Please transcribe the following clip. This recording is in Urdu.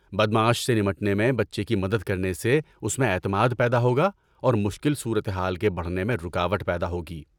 بدمعاش سے نمٹنے میں بچے کی مدد کرنے سے اس میں اعتماد پیدا ہوگا اور مشکل صورتحال کے بڑھنے میں رکاوٹ پیدا ہوگی۔